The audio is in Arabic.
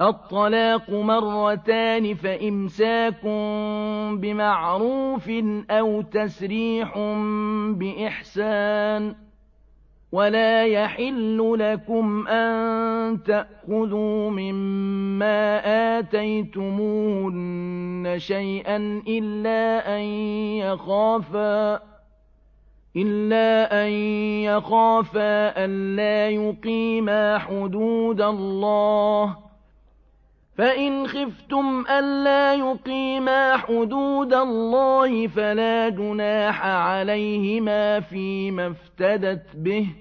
الطَّلَاقُ مَرَّتَانِ ۖ فَإِمْسَاكٌ بِمَعْرُوفٍ أَوْ تَسْرِيحٌ بِإِحْسَانٍ ۗ وَلَا يَحِلُّ لَكُمْ أَن تَأْخُذُوا مِمَّا آتَيْتُمُوهُنَّ شَيْئًا إِلَّا أَن يَخَافَا أَلَّا يُقِيمَا حُدُودَ اللَّهِ ۖ فَإِنْ خِفْتُمْ أَلَّا يُقِيمَا حُدُودَ اللَّهِ فَلَا جُنَاحَ عَلَيْهِمَا فِيمَا افْتَدَتْ بِهِ ۗ